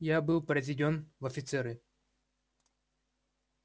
я был произведён в офицеры